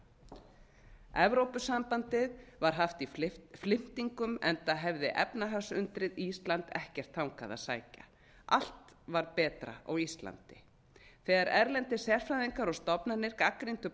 uppgötva evrópusambandið var haft í flimtingum enda hefði efnahagsundrið ísland ekkert þangað að sækja allt var betra á íslandi þegar erlendir sérfræðingar og stofnanir gagnrýndu